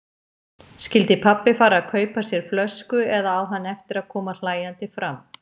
Skyldi pabbi fara og kaupa sér flösku eða á hann eftir að koma hlæjandi fram?